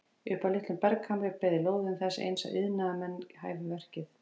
Upp af litlum berghamri beið lóðin þess eins að iðnaðarmenn hæfu verkið.